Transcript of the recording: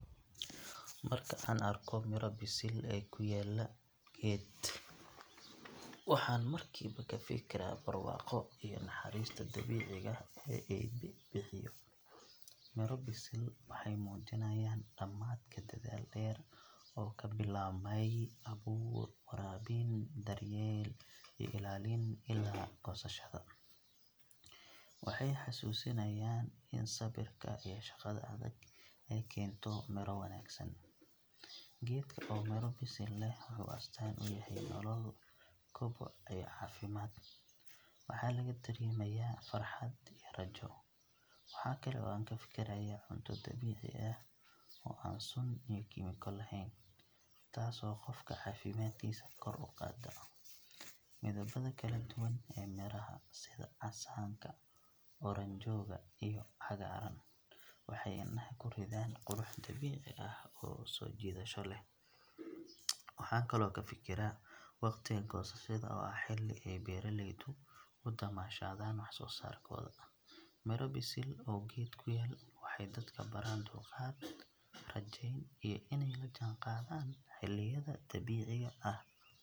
Marka aan arko miro bisil oo ku yaalla geed, waxaan markiiba ka fikiraa barwaaqo iyo naxariista dabiiciga ah ee Eebbe bixiyo. Miro bisil waxay muujinayaan dhammaadka dadaal dheer oo ka bilaabmay abuur, waraabin, daryeel iyo ilaalin ilaa goosashada. Waxay xasuusinayaan in sabirka iyo shaqada adag ay keento midho wanaagsan. Geedka oo miro bisil leh wuxuu astaan u yahay nolol, koboc iyo caafimaad, waxaana laga dareemayaa farxad iyo rajo. Waxa kale oo aan ka fikirayaa cunto dabiici ah oo aan sun iyo kiimiko lahayn, taasoo qofka caafimaadkiisa kor u qaadda. Midabada kala duwan ee miraha, sida casaanka, oranjooga iyo cagaaran, waxay indhaha ku riddaan qurux dabiici ah oo soo jiidasho leh. Waxaan kaloo ka fikiraa waqtiga goosashada oo ah xilli ay beeraleydu u damaashaadaan waxsoosaarkooda. Miro bisil oo geed ku yaal waxay dadka baraan dulqaad, rajayn iyo inay la jaanqaadaan xilliyada dabiiciga ah.